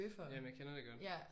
Jamen jeg kender det godt